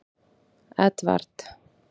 Edvard